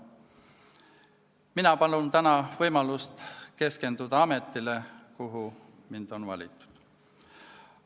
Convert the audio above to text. Mina palun täna võimalust keskenduda tööle ametis, kuhu mind on valitud.